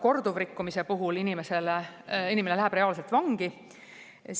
Korduvrikkumise puhul läheb inimene reaalselt vangi.